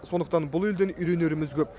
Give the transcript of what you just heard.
сондықтан бұл елден үйренеріміз көп